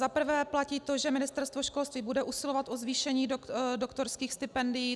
Za prvé platí to, že Ministerstvo školství bude usilovat o zvýšení doktorských stipendií.